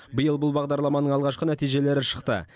биыл бұл бағдарламаның алғашқы нәтижелері шықты